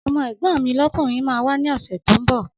Ọmọ́ ẹ̀gbọ́n mi lọ́kùnrin máa wà ní ọ̀sẹ̀ tó ńbọ̀